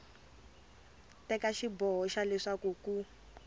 teka xiboho xa leswaku ku